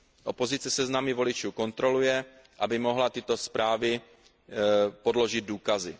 Opozice seznamy voličů kontroluje, aby mohla tyto zprávy podložit důkazy.